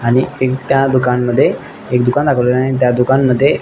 आणि त्या दुकान मध्ये एक दुकान दाखवलेल आहे त्या दुकान मध्ये--